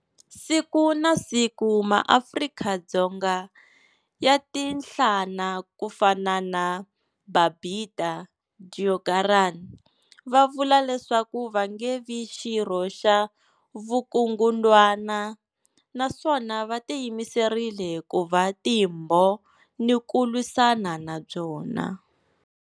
Siku na siku, maAfrika-Dzonga ya tiyanhlana ku fana na Babita Deokaran va vula leswaku va nge vi xirho xa vukungundwana naswona va tiyimiserile ku va timbhoni ku lwisana na byona.